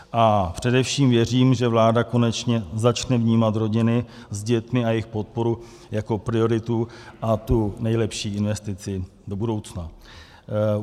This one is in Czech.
A především věřím, že vláda konečně začne vnímat rodiny s dětmi a jejich podporu jako prioritu a tu nejlepší investici do budoucna.